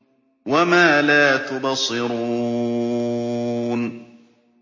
وَمَا لَا تُبْصِرُونَ